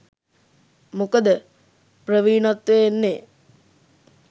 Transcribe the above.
මොකද ප්‍රවීණත්වය එන්නේ